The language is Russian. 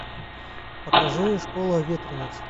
покажи школа ветрениц